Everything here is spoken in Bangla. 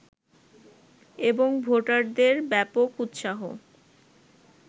এবং ভোটারদের ব্যাপক উৎসাহ